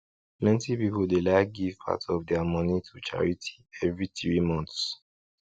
plenty people dey like give part of their money to charity every three months